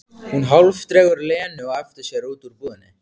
Hún hálfdregur Lenu á eftir sér út úr búðinni.